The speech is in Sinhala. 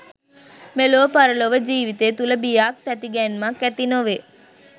මෙලොව පරලොව ජීවිතය තුළ බියක් තැතිගැන්මක් ඇති නොවේ.